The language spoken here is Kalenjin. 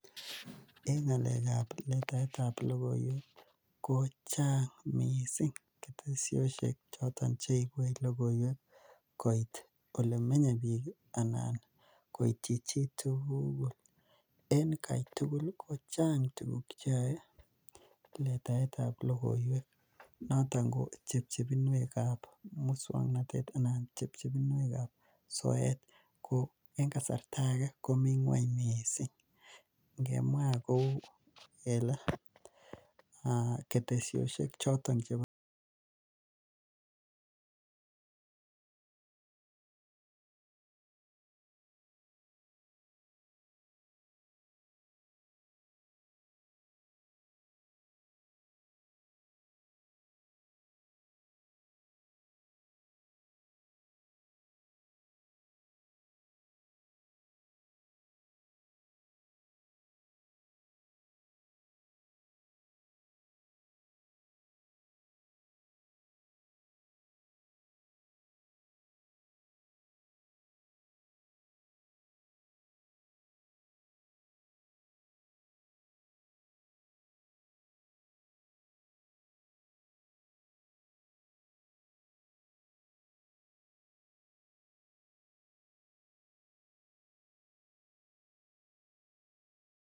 En ng'alekab letaetab logoiwek ih kochang missing ketesiosiek choton cheibuech logoiwek koit olemenye bik anan koityi chitugul en Kai tugul kochang bik cheyae letaetab logoiwek, noton chebchepin wek kab musuaknotet anan chepchepinwek kab soet ko en kasarta age komi ngueny missing. Ingemwa kouu kele ketesiosiek